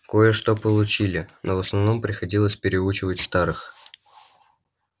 кое-что получили но в основном приходилось переучивать старых